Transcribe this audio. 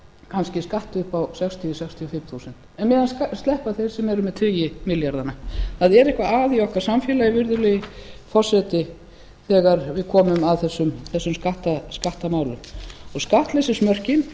kannski skatt upp á sextíu til sextíu og fimm prósent en á meðan sleppa þeir sem eru með tugi milljarðana það er eitthvað að í okkar samfélagi virðulegi forseti þegar við komum að þessum skattamálum skattleysismörkin